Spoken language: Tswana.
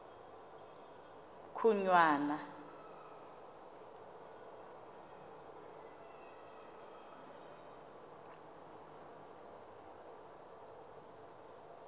khunwana